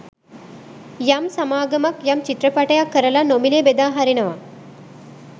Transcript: යම් සමාගමක් යම් චිත්‍රපටයක් කරලා නොමිලේ බෙදා හරිනවා